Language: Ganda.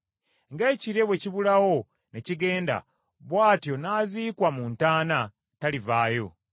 Nga ekire bwe kibulawo ne kigenda, bw’atyo n’aziikwa mu ntaana talivaayo.